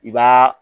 I b'a